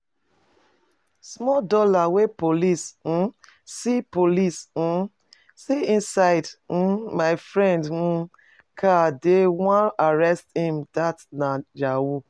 Small dollars wey police um see police um see inside um my friend um car they wan arrest him that nah yahoo